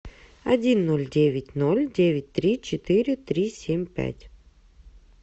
один ноль девять ноль девять три четыре три семь пять